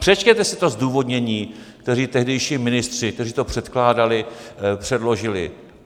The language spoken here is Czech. Přečtěte si to zdůvodnění, které tehdejší ministři, kteří to předkládali, předložili.